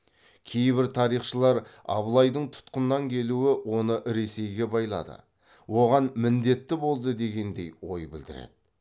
кейбір тарихшылар абылайдың тұтқыннан келуі оны ресейге байлады оған міндетті болды дегендей ой білдіреді